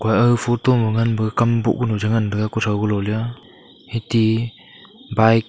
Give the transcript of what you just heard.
aga photo ma ngan pu kam boh kunu ta ngan taga kutho kulo lea eti bike.